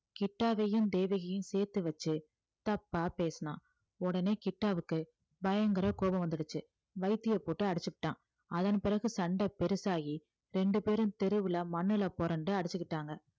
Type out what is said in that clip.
கிட்டாவையும் தேவகியையும் சேர்த்து வச்சு தப்பா பேசினான் உடனே கிட்டாவுக்கு பயங்கர கோபம் வந்துடுச்சு வைத்திய போட்டு அடிச்சுப்புட்டான் அதன் பிறகு சண்டை பெருசாகி ரெண்டு பேரும் தெருவுல மண்ணுல புரண்டு அடிச்சுக்கிட்டாங்க